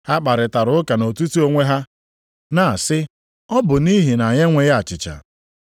Ha kparịtara ụka nʼetiti onwe ha na-asị, “Ọ bụ nʼihi na anyị enweghị achịcha.”